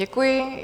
Děkuji.